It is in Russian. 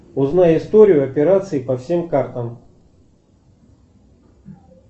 узнай историю операций по всем картам